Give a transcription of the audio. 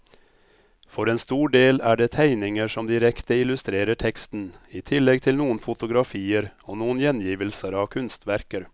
For en stor del er det tegninger som direkte illustrerer teksten, i tillegg til noen fotografier og noen gjengivelser av kunstverker.